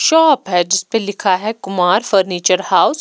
shop है जिसपे लिखा है कुमार फर्नीचर हाउस --